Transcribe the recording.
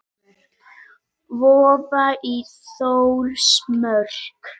Vofa í Þórsmörk.